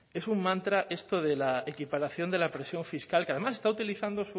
es un mantra esto de la equiparación de la presión fiscal que además está utilizando